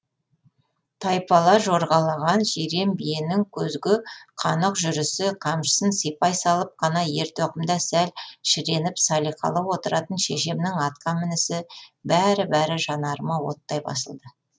тайпала жорғалаған жирен биенің көзге қанық жүрісі қамшысын сипай салып қана ертоқымда сәл шіреніп салиқалы отыратын шешемнің атқа мінісі бәрі бәрі жанарыма оттай басылды